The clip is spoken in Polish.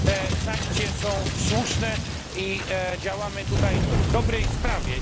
Te sankcje są słuszne i działamy tutaj w dobrej sprawie.